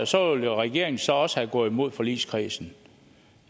så ville regeringen jo så også være gået imod forligskredsen